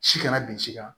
Si kana bin si kan